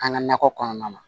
An ka nakɔ kɔnɔna na